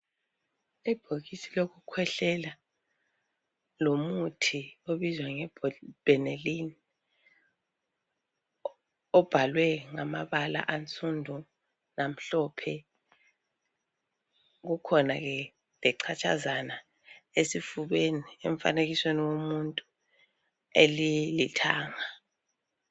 Ibhokisi lokukhwehlelalomuthi obizwa nge benelini ibhalwe ngamabala a Sunday lamhlophe kukhona lechathazana esifubeni emfanekisweni womuntu elilithanga